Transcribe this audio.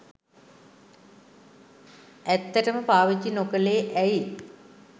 ඇත්තටම පාවිච්චි නොකළේ ඇයි